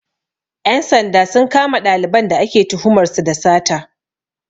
Ƴan sanda sun kama ɗaliban da ake tuhumar su da sata